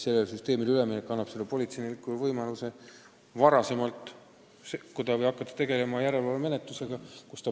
Sellele süsteemile üleminek annab politseinikule võimaluse muudele juhtumitele kiiremini reageerida või hakata tegelema järelevalvemenetlusega.